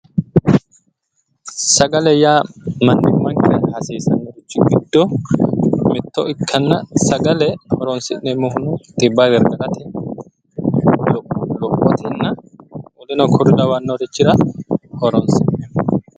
sagale yaa mannimmankera hasiissannoichi giddo mitto ikkana sagale horonsi'neemmohuno xibba gargarate lophotenna woleno kuri lawannorichira horonsi'neemmo.